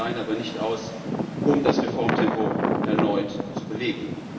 Sie reichen allein aber nicht aus, um das Reformtempo erneut zu beleben.